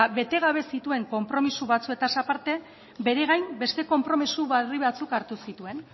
bete gabe zituen konpromiso batzuetaz aparte bere gain beste konpromiso berri batzuk hartu zituen